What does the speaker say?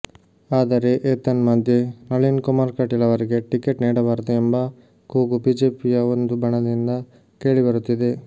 ಆದರೆ ಏತನ್ಮಧ್ಯೆ ನಳಿನ್ ಕುಮಾರ್ ಕಟೀಲ್ ಅವರಿಗೆ ಟಿಕೆಟ್ ನೀಡಬಾರದು ಎಂಬ ಕೂಗು ಬಿಜೆಪಿಯ ಒಂದು ಬಣದಿಂದ ಕೇಳಿ ಬರುತಿದೆ